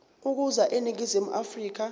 ukuza eningizimu afrika